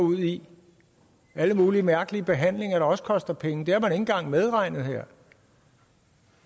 ud i alle mulige mærkelige behandlinger der også koster penge det har man ikke engang medregnet her